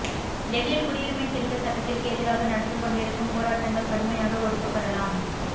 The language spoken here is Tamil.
டெல்லியில் குடியுரிமை திருத்த சட்டத்திற்கு எதிராக நடந்துகொண்டிருக்கும் போராட்டங்கள் கடுமையாக ஒடுக்கப்படலாம்